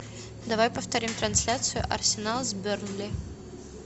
давай повторим трансляцию арсенал с бернли